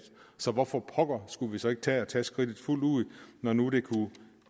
så hvorfor pokker skulle vi så ikke tage at tage skridtet fuldt ud når nu det kunne